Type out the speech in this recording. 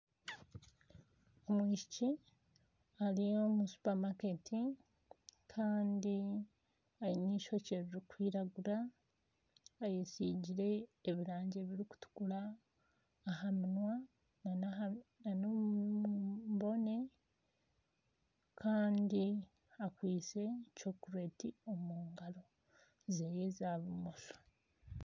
Omwishiki ari omu supermarket kandi aine eishokye ririkwirangura ayetsigire ebirangi ebirikutukura aha munywa kandi akwitse chokulati omu ngaro ze za bumosho.